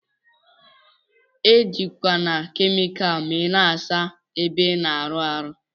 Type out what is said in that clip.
Ejikwana kemikal ma ina asa ebe ina awụ arụ.